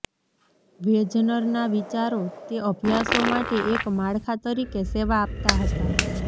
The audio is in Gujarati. વેજનરના વિચારો તે અભ્યાસો માટે એક માળખા તરીકે સેવા આપતા હતા